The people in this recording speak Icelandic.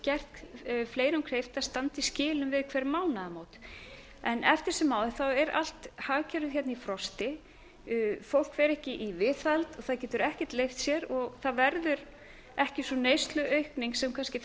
gert fleirum kleift að standa í skilum við hver mánaðamót eftir sem áður er allt hagkerfið hérna í frosti fólk fer ekki í viðhald og það getur ekki leigt sér og það verður ekki sú neysluaukning sem kannski